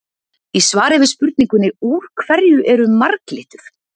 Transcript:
Í svari við spurningunni Úr hverju eru marglyttur?